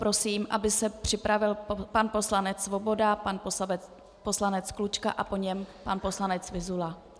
Prosím, aby se připravil pan poslanec Svoboda, pan poslanec Klučka a po něm pan poslanec Vyzula.